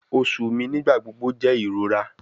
Oṣu mi nigbagbogbo jẹ irora